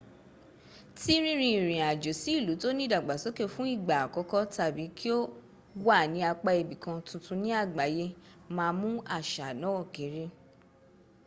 tí rínrin ìrìn àjò sí ìlú tóní ìdàgbàsóké fún ìgbà àkọ́kọ́ tàbí kí o wà ní apá ibì kan tuntun ní àgbáyé- má mú àṣà náà kéré